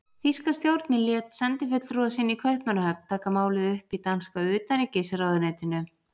Þýska stjórnin lét sendifulltrúa sinn í Kaupmannahöfn taka málið upp í danska utanríkisráðuneytinu.